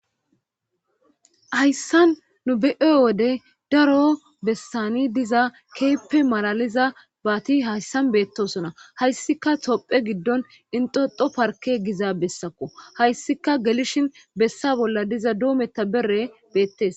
hayssan nu be7e wode daro bessani diza keeppe malaliza baati hayssan beettosona hayssika topphe giddon inxoxo parke giza bessakko hayssika gelishin bessa bolla diza doometta bere beettes